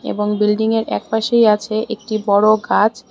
এবং বিল্ডিংয়ের একপাশেই আছে একটি বড় গাছ।